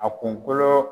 A kunkolo